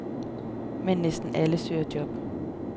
Men næsten alle søger job.